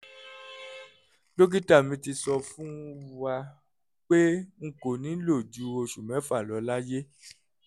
dókítà mi ti sọ fún wa pé n kò ní lò ju oṣù mẹ́fà lọ láyé